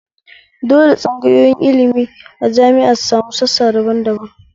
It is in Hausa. Dole tsangayoyin ilmi a jami'a su sami sassa daban daban